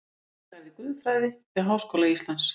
Brynja lærði guðfræði við Háskóla Íslands